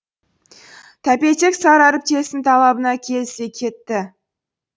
тәпелтек сары әріптесінің талабына келісе кетті